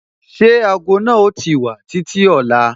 Ṣé ago náà o ti wà títí ọ̀la?